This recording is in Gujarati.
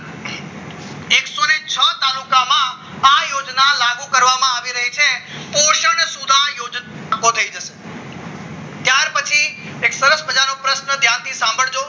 આવું કરવામાં આવી રહી છે પોશન સુધર યોજના ત્યાર પછી સરસ મજાનો પ્રશ્ન ધ્યાનથી સાંભળજો